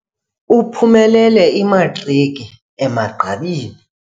Uphumelele imatriki emagqabini.